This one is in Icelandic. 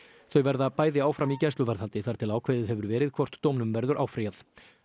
þau verða bæði áfram í gæsluvarðhaldi þar til ákveðið hefur verið hvort dómnum verður áfrýjað